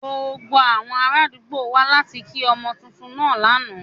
Gbogbo awọn araadugbo wa lati ki ọmọ tuntun naa lana.